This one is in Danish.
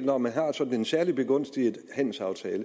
når man har sådan en særligt begunstigende handelsaftale